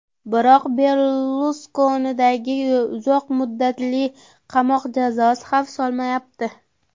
Biroq Berluskoniga uzoq muddatli qamoq jazosi xavf solmayapti.